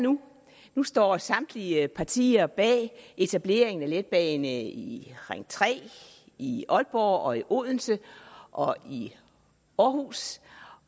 nu nu står samtlige partier bag etableringen af en letbane i ring tre i aalborg og i odense og i aarhus